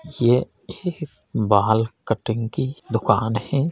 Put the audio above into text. यह बाल कटिंग की दुकान है।